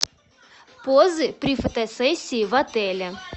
позы при фотосессии в отеле